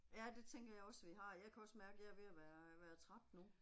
Ja det tænker jeg også vi har, jeg kan også mærke jeg er ved at være være træt nu